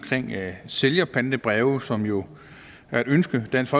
sælgerpantebreve som jo er et ønske dansk